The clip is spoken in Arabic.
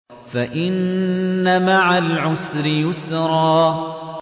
فَإِنَّ مَعَ الْعُسْرِ يُسْرًا